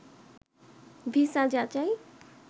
visa যাচাই